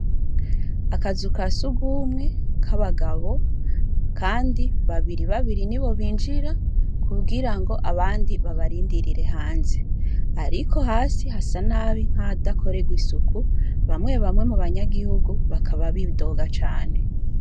Akazuka si ugumwe k'abagabo, kandi babiri babiri ni bo binjira kubwira ngo abandi babarindirire hanze, ariko hasi hasa nabi nk'adakorerwa isuku bamwe bamwe mu banyagihugu bakaba bidoga cane.